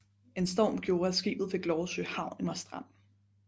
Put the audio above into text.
En storm gjorde at skibet fik lov at søge havn i Marstrand